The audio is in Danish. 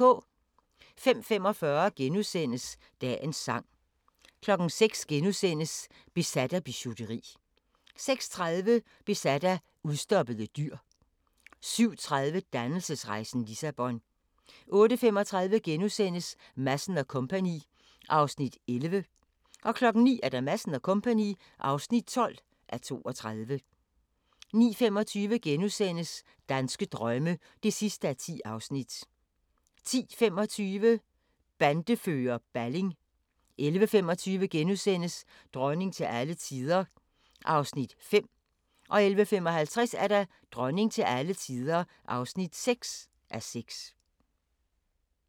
05:45: Dagens Sang * 06:00: Besat af bijouteri * 06:30: Besat af udstoppede dyr 07:30: Dannelsesrejsen – Lissabon 08:35: Madsen & Co. (11:32)* 09:00: Madsen & Co. (12:32) 09:25: Danske drømme (10:10)* 10:25: Bandefører Balling 11:25: Dronning til alle tider (5:6)* 11:55: Dronning til alle tider (6:6)